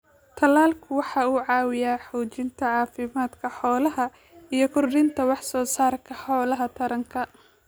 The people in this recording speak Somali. Talaalku waxa uu caawiyaa xoojinta caafimaadka xoolaha iyo kordhinta wax soo saarka hawlaha taranka.